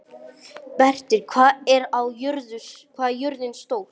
Berit, hvað er jörðin stór?